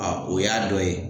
A o y'a dɔ ye.